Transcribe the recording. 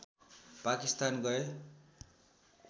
पाकिस्तान गए